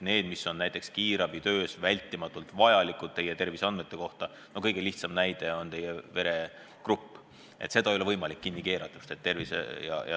Neid, mis on näiteks kiirabitöös vältimatult vajalikud terviseandmed – no kõige lihtsam näide on teie veregrupp –, ei ole võimalik kinni keerata.